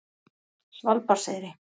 Svalbarðseyri